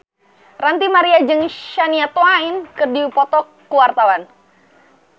Ranty Maria jeung Shania Twain keur dipoto ku wartawan